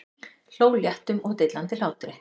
Hló léttum og dillandi hlátri.